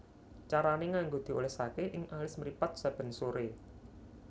Carané nganggo diolesaké ing alis mripat saben soré